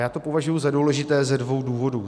Já to považuji za důležité ze dvou důvodů.